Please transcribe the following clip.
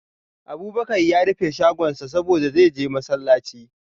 Abubakar ya rufe shagonsa saboda, zai je masallaci.